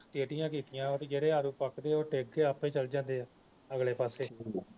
ਢੇਡੀਆਂ ਕੀਤੀਆਂ ਵਾ ਜਿਹੜੇ ਆਲੂ ਪੱਕਦੇ ਆ ਉਹ ਡਿਗ ਕੇ ਆਪੇ ਚਲ ਜਾਂਦੇ ਅਗਲੇ ਪਾਸੇ